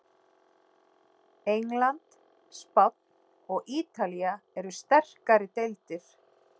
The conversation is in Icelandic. England, Spánn og Ítalía eru sterkari deildir.